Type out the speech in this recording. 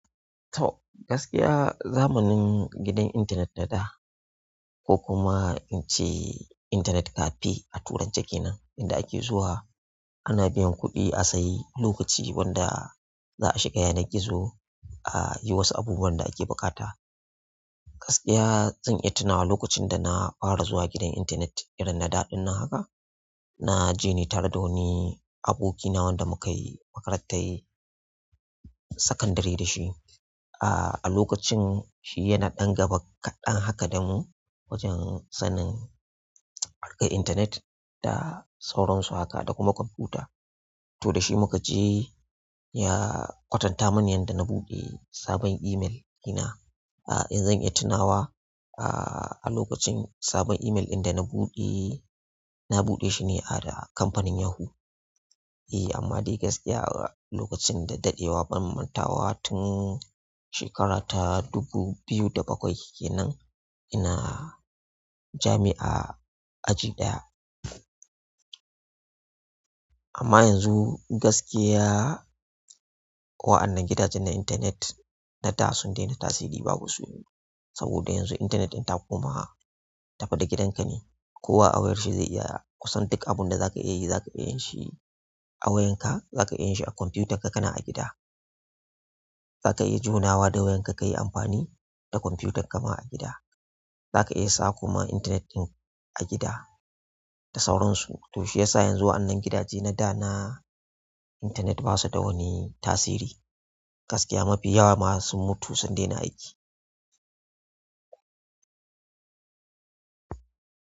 To gaskiya zamanin gidan intanet na da ko kuma in ce intanet cafe a Turanceh kenan inda ake zuwa ana biyan kuɗi a sayi lokaci wanda za a shiga yanar gizo a yi wasu abubuwan da ake buƙata. Gaskiya zan iya tunawa lokacin da na fara zuwa gidan intanet irin na da ɗin na haka. Na je ni tar da wani abokina wanda muka yi makarantar sakandare da shi ah. A lokacin shi yana ɗan gaba kaɗan haka da mu wajen sanin harkar intanet da sauransu haka da kuma kwamfuta. To da shi muka je ya kwatanta mini yadda na buɗe sabon email ɗina. In zan iya tunawa ah lokacin sabon email dana buɗe, na buɗe shi ne ah da kamfanin Yahoo. Eh amma dai gaskiya lokacin da ɗaɗewa ban mantawa tun shekara ta dubu biyu da bakwai kenan ina jami'a aji ɗaya. Amma yanzu gaskiya wa'annan gidajen na intanet na da sun daina tasiri babu su. Saboda yanzu intanet ɗin koma tafi da gidanka ne. Kowa a wayar shi zai iya kusan duk abun da za ka iya yi za ka iya yin shi a wayan ka, za ka iya yin shi a kwamfutar ka kana a gida. Za ka iya jona wa da wayan ka ka yi amfani da kwamfutar ka ma a gida. Za ka iya sa kuma intanet ɗin a gida da sauransu. To shi yasa yanzu waɗanan gidaje na da na intanet ba su da wani tasiri. Gaskiya mafi yawa ma sun mutu sun daina aiki.